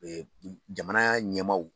Jamana ɲɛmaw